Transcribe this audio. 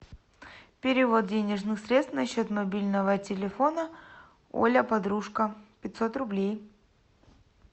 перевод денежных средств на счет мобильного телефона оля подружка пятьсот рублей